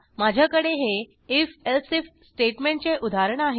माझ्याकडे हे if else if स्टेटमेंटचे उदाहरण आहे